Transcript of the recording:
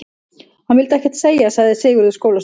Hann vill ekkert segja, sagði Sigurður skólastjóri.